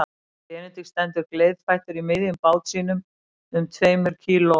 Og Benedikt stendur gleiðfættur í miðjum bát sínum um tveimur kíló